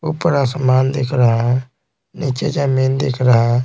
ऊपर आसमान दिख रहा है नीचे जमीन दिख रहा है।